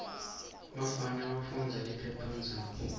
bafana bafundza liphephandzaba